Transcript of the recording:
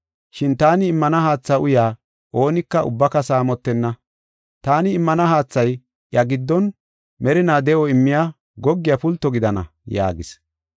Shin taani immana haatha uyaa oonika ubbaka saamotenna. Taani immiya haathay iya giddon merinaa de7o immiya goggiya pulto gidana” yaagis.